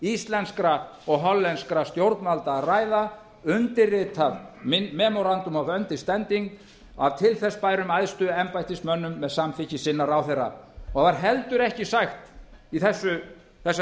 íslenskra og hollenskra stjórnvalda að ræða undirritað memuratum understanding af til þess bærum æðstu embættismönnum með samþykki sinna ráðherra og það er heldur ekki sagt í þessari